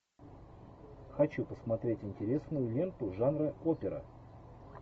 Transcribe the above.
хочу посмотреть интересную ленту жанра опера